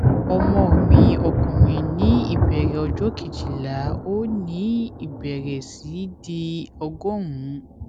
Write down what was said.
ọmọ mi ọkùnrin ní ìbẹrẹ ọjọ kejìlá ó ní ìbẹrẹ sí í di ọgọrùn ún